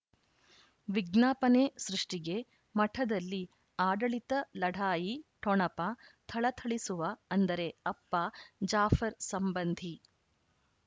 ವಿಜ್ಞಾಪನೆ ಸೃಷ್ಟಿಗೆ ಮಠದಲ್ಲಿ ಆಡಳಿತ ಲಢಾಯಿ ಠೊಣಪ ಥಳಥಳಿಸುವ ಅಂದರೆ ಅಪ್ಪ ಜಾಫರ್ ಸಂಬಂಧಿ